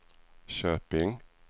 Köping